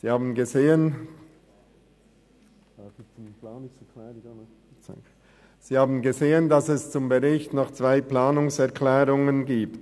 Sie haben gesehen, dass es zum Bericht noch zwei Planungserklärungen gibt.